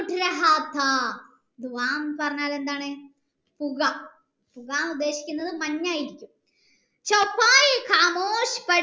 എന്നു പറഞ്ഞാൽ എന്താണ് പുക പുക എന്ന് ഉദ്ദേശിക്കുന്നത് മഞ്ഞായിരിക്കും